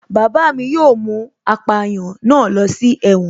Bàbá mi yóò mú apàyàn náà ló si ẹ̀wọ̀n